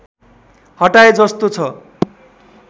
हटाए जस्तो छ